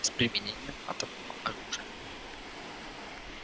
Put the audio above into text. с применением атомного оружия